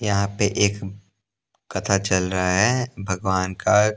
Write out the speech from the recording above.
यहाँ पे एक कथा चल रहा हैं भगवान का--